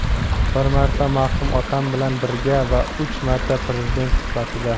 Bir marta marhum otam bilan birga va uch marta Prezident sifatida.